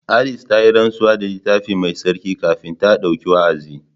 Alice ta yi rantsuwa da Littafi Mai Tsarki kafin ta ɗauki wa’azi.